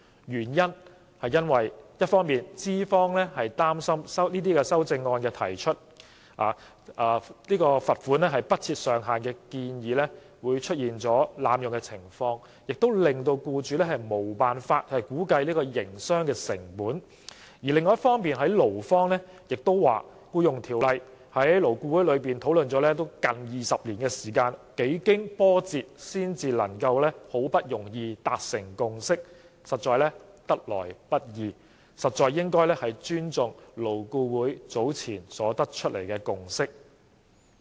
一方面資方擔心修正案提出額外款項不設上限的建議會出現被濫用的情況，令僱主無法估計營商成本；另一方面，勞方代表亦表示，《僱傭條例》在勞顧會討論了近20年，幾經波折才能夠達成共識，得來不易，實應尊重勞顧會早前得出的共識。